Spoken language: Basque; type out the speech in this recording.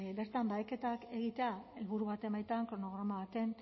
bertan baheketak egitea helburu baten baitan kronograma baten